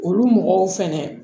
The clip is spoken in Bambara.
Olu mɔgɔw fɛnɛ